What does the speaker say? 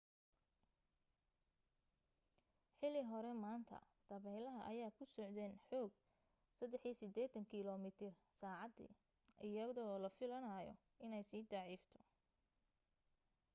xili hore maanta dabeelaha ayaa ku socdeen xoog 83 kilomiitar saacadii iyadoo la filanaayo inay sii daciifto